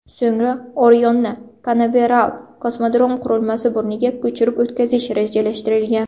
So‘ngra Orionni Kanaveral kosmodrom qurilmasi burniga ko‘chirib o‘tkazish rejalashtirilgan.